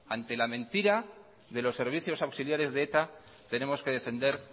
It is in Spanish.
ante la mentira de los servicios auxiliares de eta tenemos que defender